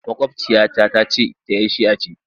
Maƙwabciya ta ta ce ita 'yar shia ce.